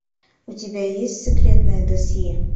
у тебя есть секретное досье